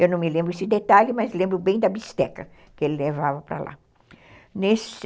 Eu não me lembro desse detalhe, mas lembro bem da bisteca que ele levava para lá.